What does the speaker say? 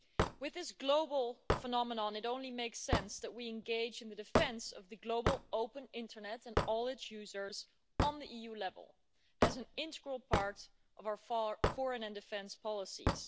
With this global phenomenon, it only makes sense that we engage in the defence of the global open internet and all its users at EU level, as an integral part of our foreign and defence policies.